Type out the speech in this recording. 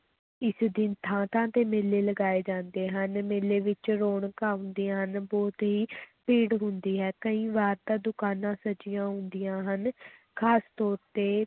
ਇਸ ਦਿਨ ਥਾਂ-ਥਾਂ ਤੇ ਮੇਲੇ ਲਗਾਏ ਜਾਂਦੇ ਹਨ, ਮੇਲੇ ਵਿੱਚ ਰੌਣਕਾਂ ਹੁੰਦੀਆਂ ਹਨ, ਬਹੁਤ ਹੀ ਭੀੜ ਹੁੰਦੀ ਹੈ, ਕਈ ਵਾਰ ਤਾਂ ਦੁਕਾਨਾਂ ਸਜੀਆਂ ਹੁੰਦੀਆਂ ਹਨ ਖ਼ਾਸ ਤੌਰ ਤੇ